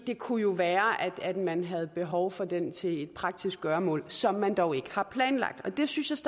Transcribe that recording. det kunne jo være at man havde behov for den til et praktisk gøremål som man dog ikke har planlagt jeg synes